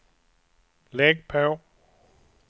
lägg på